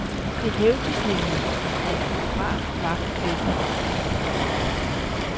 Det hævdes nemlig, at en fotograf var på pletten.